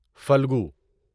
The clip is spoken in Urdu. فلگو